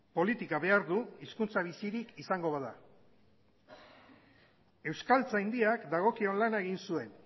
politika behar du hizkuntza bizirik izango bada euskaltzaindiak dagokion lana egin zuen